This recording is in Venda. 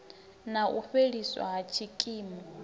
na u fheliswa ha tshikimu